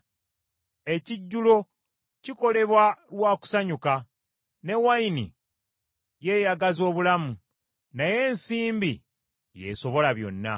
Ekijjulo kikolebwa lwa kusanyuka, ne wayini yeeyagaza obulamu, naye ensimbi y’esobola byonna.